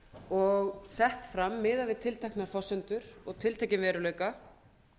og sett fram miðað við tilteknar forsendur og tiltekinn veruleika